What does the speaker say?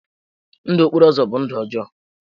Ndụ okporo ụzọ bụ ndụ ọjọọ.